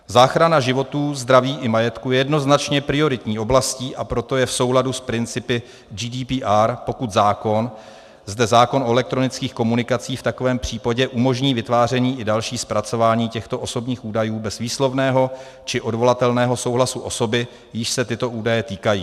Záchrana životů, zdraví i majetku je jednoznačně prioritní oblastí, a proto je v souladu s principy GDPR, pokud zákon, zde zákon o elektronických komunikacích, v takovém případě umožní vytváření i další zpracování těchto osobních údajů bez výslovného či odvolatelného souhlasu osoby, jíž se tyto údaje týkají.